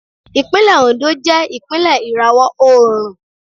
Ìpínlẹ̀ Oǹdó jẹ́ ìpínlẹ̀ ìràwọ̀ oòrùn.